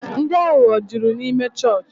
Ndị aghụghọ jụrụ n'ịme chọọchị